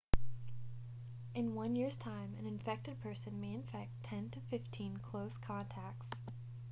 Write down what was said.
in one year's time an infected person may infect 10 to 15 close contacts